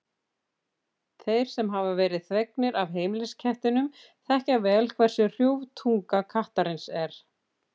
Þeir sem hafa verið þvegnir af heimiliskettinum þekkja vel hversu hrjúf tunga kattarins er.